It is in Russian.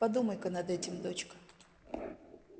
подумай-ка над этим дочка